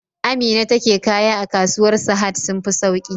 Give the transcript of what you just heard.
Amina take kaya a kasuwar sahad sun fi sauki